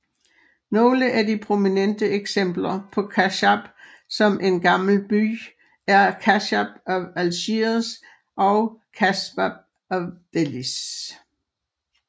Nogle af de prominente eksempler på kasbah som en gammel by er Casbah of Algiers og Casbah of Dellys